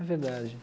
É verdade.